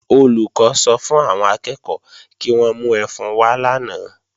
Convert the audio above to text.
Olùkọ́ sọ fún àwọn akẹ́ẹ̀kọ́ kí wọ́n mú ẹfun wá lánàá